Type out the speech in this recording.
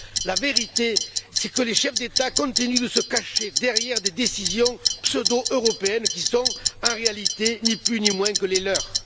La vérité, c'est que les chefs d'État continuent de se cacher derrière des décisions pseudo européennes qui ne sont en réalité, ni plus ni moins, que les leurs.